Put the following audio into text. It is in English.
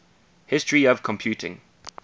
history of computing